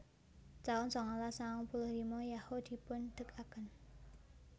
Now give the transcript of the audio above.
taun sangalas sangang puluh lima Yahoo dipundegaken